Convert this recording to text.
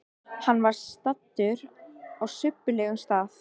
Hann var staddur á subbulegum stað.